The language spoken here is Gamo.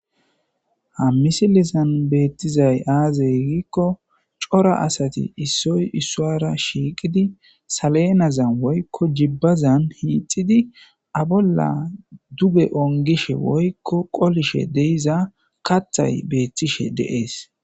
ha misilisan beettizay aaze gikko cora asati issoy isswara shiiqidi saleenazan woykko jibbazan hiixidi abolla duge ongishe woykko qolishe de'iza kathay beettishe de'ees